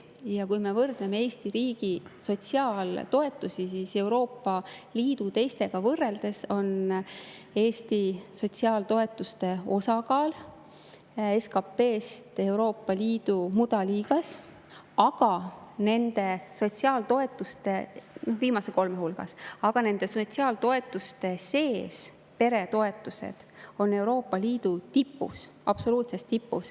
Ja kui me vaatame Eesti riigi sotsiaaltoetusi, siis Euroopa Liidu teiste riikidega võrreldes on Eesti sotsiaaltoetuste osakaalult SKP-s Euroopa Liidu mudaliigas, viimase kolme hulgas, aga nende sotsiaaltoetuste sees peretoetused on Euroopa Liidu absoluutses tipus.